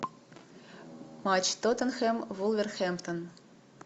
матч тоттенхэм вулверхэмптон